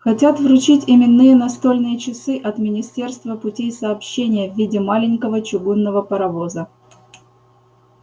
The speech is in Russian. хотят вручить именные настольные часы от министерства путей сообщения в виде маленького чугунного паровоза